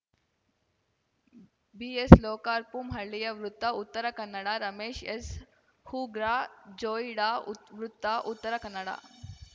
ಬಿಎಸ್‌ಲೋಕಾರ್ಪು ಹಳ್ಳಿಯ ವೃತ್ತ ಉತ್ತರ ಕನ್ನಡ ರಮೇಶ್‌ ಎಸ್‌ಹೂರ್ಗಾ ಜೋಯಿಡಾ ಉತ್ ವೃತ್ತ ಉತ್ತರ ಕನ್ನಡ